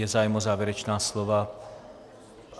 Je zájem o závěrečná slova?